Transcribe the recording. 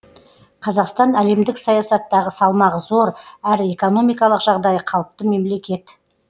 қазақстан әлемдік саясаттағы салмағы зор әрі экономикалық жағдайы қалыпты мемлекет